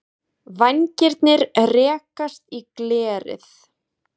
Vængirnir rekast í glerið.